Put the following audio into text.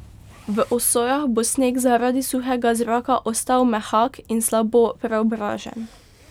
V osojah bo sneg zaradi suhega zraka ostal mehak in slabo preobražen.